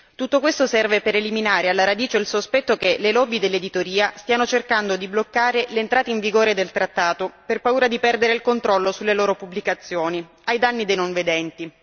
Tutto questo serve per eliminare alla radice il sospetto che le lobby dell'editoria stiano cercando di bloccare l'entrata in vigore del trattato per paura di perdere il controllo sulle loro pubblicazioni ai danni dei non vedenti.